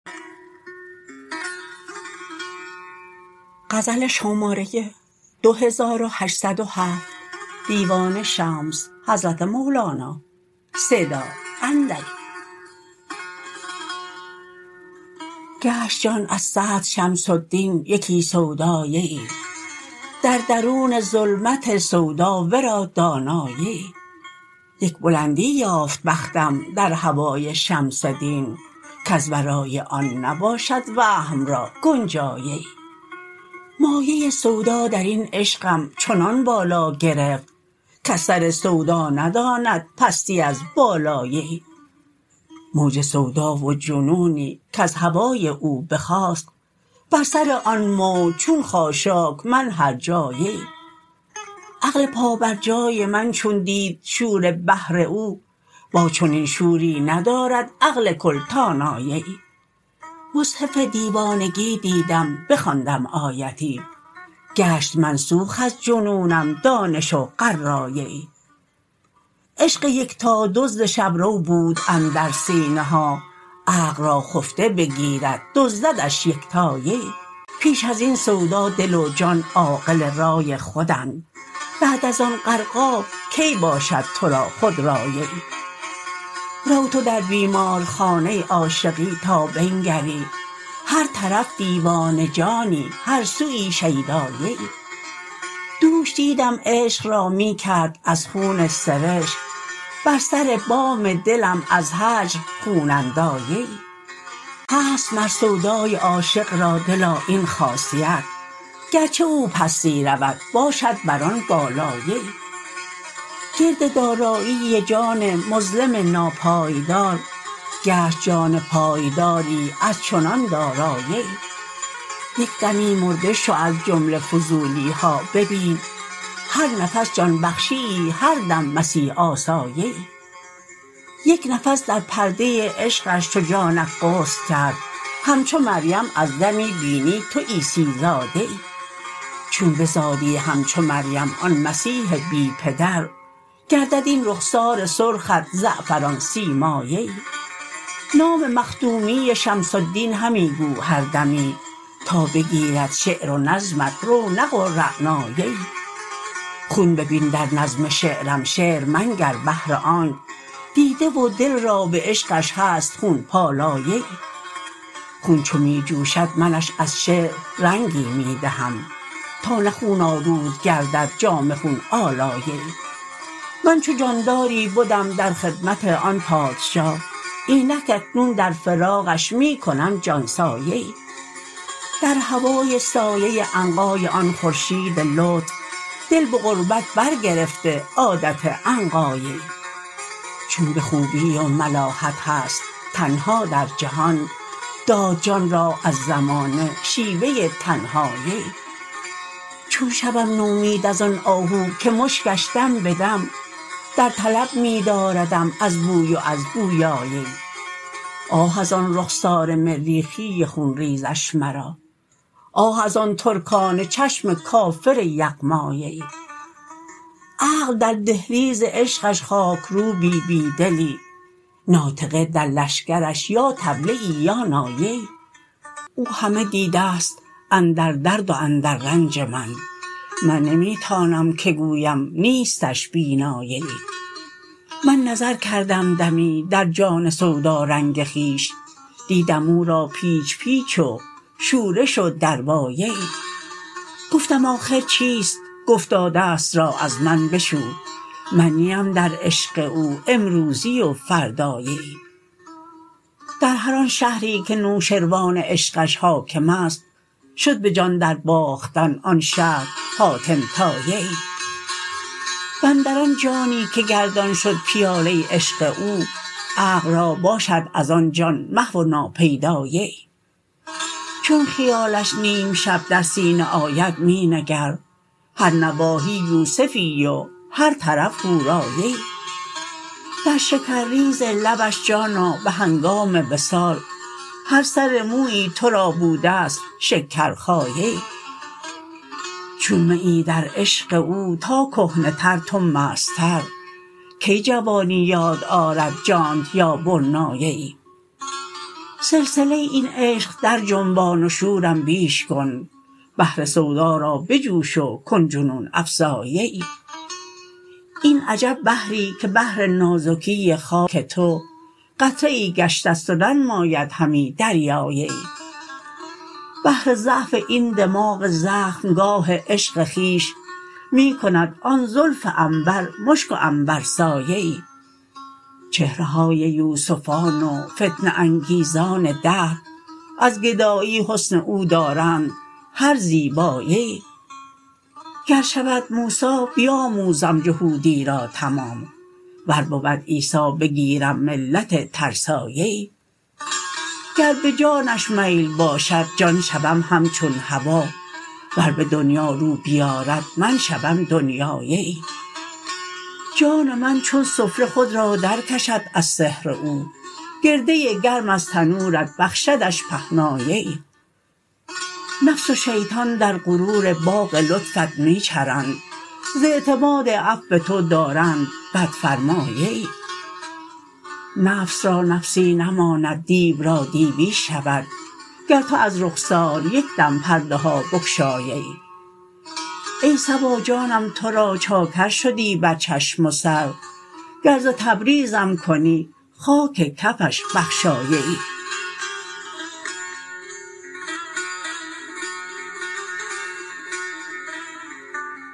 گشت جان از صدر شمس الدین یکی سوداییی در درون ظلمت سودا ورا داناییی یک بلندی یافت بختم در هوای شمس دین کز ورای آن نباشد وهم را گنجاییی مایه سودا در این عشقم چنان بالا گرفت کز سر سودا نداند پستی از بالاییی موج سودا و جنونی کز هوای او بخاست بر سر آن موج چون خاشاک من هرجاییی عقل پابرجای من چون دید شور بحر او با چنین شوری ندارد عقل کل تواناییی مصحف دیوانگی دیدم بخواندم آیتی گشت منسوخ از جنونم دانش و قراییی عشق یکتا دزد شب رو بود اندر سینه ها عقل را خفته بگیرد دزددش یکتاییی پیش از این سودا دل و جان عاقل رای خودند بعد از آن غرقاب کی باشد تو را خودراییی رو تو در بیمارخانه عاشقی تا بنگری هر طرف دیوانه جانی هر سوی شیداییی دوش دیدم عشق را می کرد از خون سرشک بر سر بام دلم از هجر خون انداییی هست مر سودای عاشق را دلا این خاصیت گرچه او پستی رود باشد بر آن بالاییی گرد دارایی جان مظلم ناپایدار گشت جان پایداری از چنان داراییی یک دمی مرده شو از جمله فضولی ها ببین هر نفس جان بخشیی هر دم مسیح آساییی یک نفس در پرده عشقش چو جانت غسل کرد همچو مریم از دمی بینی تو عیسی زاییی چون بزادی همچو مریم آن مسیح بی پدر گردد این رخسار سرخت زعفران سیماییی نام مخدومی شمس الدین همی گو هر دمی تا بگیرد شعر و نظمت رونق و رعناییی خون ببین در نظم شعرم شعر منگر بهر آنک دیده و دل را به عشقش هست خون پالاییی خون چو می جوشد منش از شعر رنگی می دهم تا نه خون آلود گردد جامه خون آلاییی من چو جانداری بدم در خدمت آن پادشاه اینک اکنون در فراقش می کنم جان ساییی در هوای سایه عنقای آن خورشید لطف دل به غربت برگرفته عادت عنقاییی چون به خوبی و ملاحت هست تنها در جهان داد جان را از زمانه شیوه تنهاییی چون شوم نومید از آن آهو که مشکش دم به دم در طلب می داردم از بوی و از بویاییی آه از آن رخسار مریخی خون ریزش مرا آه از آن ترکانه چشم کافر یغماییی عقل در دهلیز عشقش خاکروبی بی دلی ناطقه در لشکرش یا طبلیی یا ناییی او همه دیده ست اندر درد و اندر رنج من من نمی تانم که گویم نیستش بیناییی من نظر کردم دمی در جان سودارنگ خویش دیدم او را پیچ پیچ و شورش و درواییی گفتم آخر چیست گفتا دست را از من بشو من نیم در عشق او امروزی و فرداییی در هر آن شهری که نوشروان عشقش حاکم است شد به جان درباختن آن شهر حاتم طاییی و اندر آن جانی که گردان شد پیاله عشق او عقل را باشد از آن جان محو و ناپیداییی چون خیالش نیم شب در سینه آید می نگر هر نواحی یوسفی و هر طرف حوراییی در شکرریز لبش جان ها به هنگام وصال هر سر مویی تو را بوده ست شکرخاییی چون میی در عشق او تا کهنه تر تو مستتر کی جوانی یاد آرد جانت یا برناییی سلسله این عشق درجنبان و شورم بیش کن بحر سودا را بجوش و کن جنون افزاییی این عجب بحری که بهر نازکی خاک تو قطره ای گشته ست و ننماید همی دریاییی بهر ضعف این دماغ زخمگاه عشق خویش می کند آن زلف عنبر مشک و عنبرساییی چهره های یوسفان و فتنه انگیزان دهر از گدایی حسن او دارند هر زیباییی گر شود موسی بیاموزم جهودی را تمام ور بود عیسی بگیرم ملت ترساییی گر به جانش میل باشد جان شوم همچون هوا ور به دنیا رو بیارد من شوم دنیاییی جان من چون سفره خود را درکشد از سحر او گرده گرم از تنورت بخشدش پهناییی نفس و شیطان در غرور باغ لطفت می چرند ز اعتماد عفو تو دارند بدفرماییی نفس را نفسی نماند دیو را دیوی شود گر تو از رخسار یک دم پرده ها بگشاییی ای صبا جانم تو را چاکر شدی بر چشم و سر گر ز تبریزم کنی خاک کفش بخشاییی